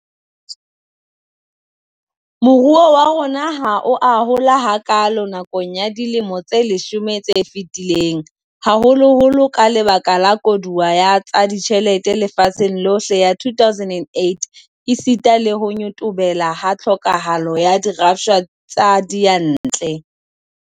Moruo wa rona ha o a hola hakaalo nakong ya dilemo tse leshome tse fetileng, haholoholo ka lebaka la koduwa ya tsa ditjhelete lefatsheng lohle ya 2008 esita le ho nyotobelo ha tlhokahalo ya dirafshwa tsa diyantle.